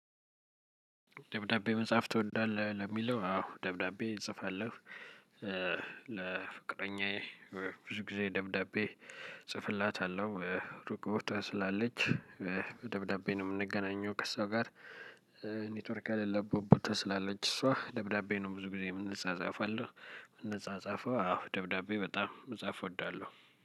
ደብዳቤ መጻፍ ትወዳለህ ለሚለው አዎ ደብዳቤ እጽፋለሁ። ለፍቅረኛዬ ብዙ ጊዜ ደብዳቤ ጽፍላታለሁ። ሩቅ ቦታ ስላለች በደብዳቤ ነው የምንገናኘው ከሷ ጋር። ኔትወርክ የሌለበት ቦታ ስላለች እሷ በደብዳቤ ነው ብዙ ጊዜ ምንጻጻፈው። ምንጻጻፈው አዎ ደብዳቤ በጣም መጻፍ እወዳለሁ።